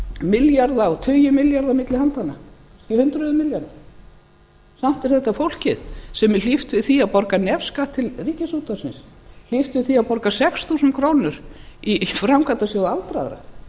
milljarða og tugi milljarða á milli handanna hundruð milljarða samt er þetta fólkið sem er hlíft við því að borga nefskatt til ríkisútvarpsins hlíft við því að borga sex þúsund krónur í framkvæmdasjóð aldraðra